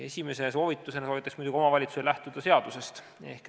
" Esimese soovitusena paluksin muidugi omavalitsusel lähtuda seadusest.